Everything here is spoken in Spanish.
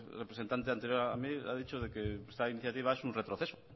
representante anterior a mí ha dicho que esta iniciativa es un retroceso